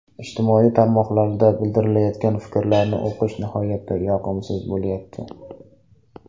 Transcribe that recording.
Ijtimoiy tarmoqlarda bildirilayotgan fikrlarni o‘qish nihoyatda yoqimsiz bo‘lyapti.